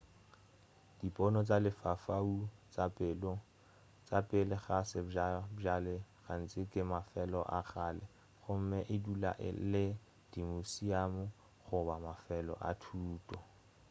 dipono tša lefaufau tša pele ga sebjalebjale gantši ke mafelo a kgale gomme e dula e le dimuseamu goba mafelo a thuto